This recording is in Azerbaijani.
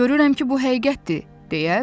mən görürəm ki, bu həqiqətdir,